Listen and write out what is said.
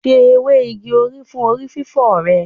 Se ewé igi òrí fún orí fífọ́ rẹ.